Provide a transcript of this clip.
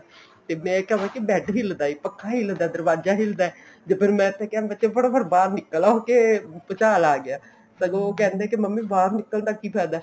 ਤੇ ਮੈਂ ਕਵਾ ਕੇ bed ਹਿੱਲਦਾ ਹੈ ਪੱਖਾ ਹਿੱਲਦਾ ਹੈ ਦਰਵਾਜਾ ਹਿੱਲਦਾ ਹੈ ਤੇ ਮੈਂ ਤੇ ਕਿਹਾ ਫਟਾ ਫਟ ਬਾਹਰ ਨਿੱਕਲ ਆਉ ਕੇ ਭੂਚਾਲ ਆ ਗਿਆ ਸਗੋਂ ਉਹ ਕਹਿੰਦੇ ਵੀ ਮੰਮੀ ਬਾਹਰ ਨਿੱਕਲ ਦਾ ਕੀ ਫਾਇਦਾ